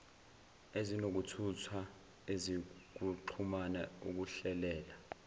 ezokuthutha ezokuxhumana ukuhlelela